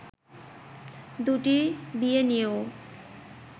দুটি বিয়ে নিয়েও